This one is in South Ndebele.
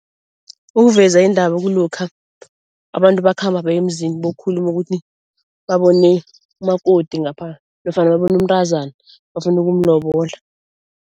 Ukuveza indaba kulokha abantu bakhamba bayemzini, bokhuluma ukuthi babone umakoti ngapha nofana babone umntazana bafuna ukumlobola.